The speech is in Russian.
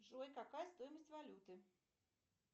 джой какая стоимость валюты